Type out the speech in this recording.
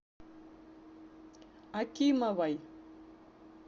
акимовой